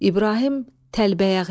İbrahim Təlbəyəğlı.